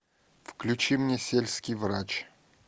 включи мне сельский врач